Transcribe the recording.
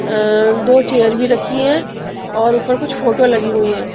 अ दो चेयर भी रखी हैं और ऊपर कुछ फोटो लगी हुई है.